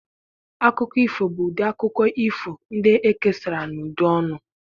Akụkọ ifo bụ ụdị akụkọ ifo ndị ekesara n'ụdị ọnụ.